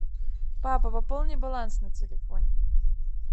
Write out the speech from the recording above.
папа пополни баланс на телефоне